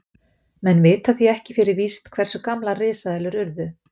Menn vita því ekki fyrir víst hversu gamlar risaeðlur urðu.